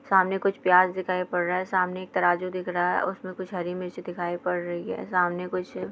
सामने कुछ प्याज दिखाई पड़ रहा है| सामने तराजू दिख रहा है उसमें कुछ हरि मिर्च दिखाई पड़ रही है| सामने कुछ--